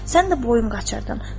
Sən də boyun qaçırtdın.